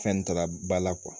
Fɛn tala ba la